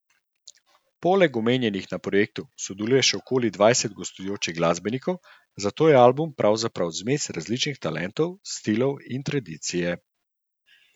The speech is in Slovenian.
Poleg omenjenih na projektu sodeluje še okoli dvajset gostujočih glasbenikov, zato je album pravzaprav zmes različnih talentov, stilov in tradicije.